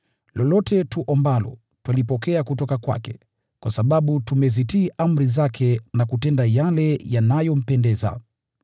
lolote tuombalo, twalipokea kutoka kwake, kwa sababu tumezitii amri zake na kutenda yale yanayompendeza.